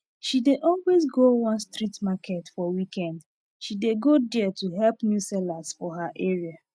she dey always go one street market for weekend she dey go there to help new sellers for her area